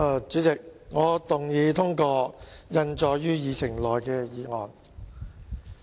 主席，我動議通過印載於議程內的議案。